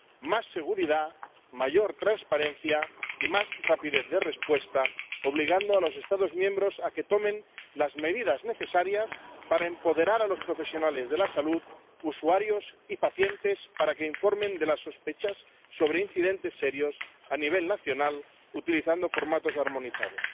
más seguridad, mayor transparencia y más rapidez de respuesta, obligando a los Estados miembros a que tomen las medidas necesarias para empoderar a los profesionales de la salud, los usuarios y los pacientes para que informen de las sospechas sobre incidentes serios a nivel nacional utilizando formularios armonizados.